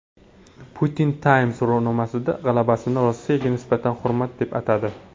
Putin Time so‘rovnomasidagi g‘alabasini Rossiyaga nisbatan hurmat deb atadi.